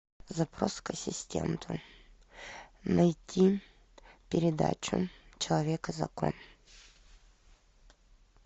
запрос к ассистенту найти передачу человек и закон